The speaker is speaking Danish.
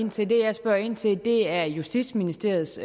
ind til det jeg spørger ind til er justitsministeriets